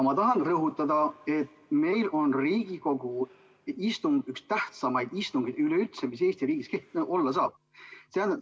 Ma tahan rõhutada, et Riigikogu istung on üldse üks tähtsamaid istungeid, mis Eesti riigis olla saab.